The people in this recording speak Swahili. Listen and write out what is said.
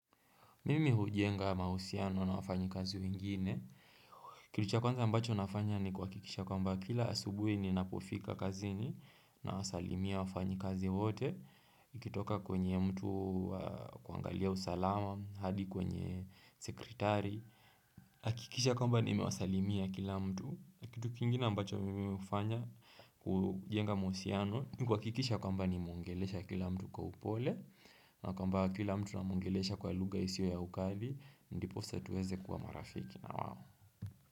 Mimi hujenga mahusiano na wafanyikazi wengine. Kitu cha kwanza ambacho nafanya ni kuhakikisha kwamba kila asubuhi ni napofika kazini na wasalimia wafanyikazi wote. Ikitoka kwenye mtu wa kuangalia usalama hadi kwenye sekretari. Akikisha kwamba nimewasalimia kila mtu. Kitu kingine ambacho mimi hufanya kujenga mahusiano. Kuhakikisha kwamba nimeongelesha kila mtu kwa upole na kwa mba kila mtu namuongelesha kwa lugha isiyo ya ukali. Ndipo tuweze kuwa marafiki na wao.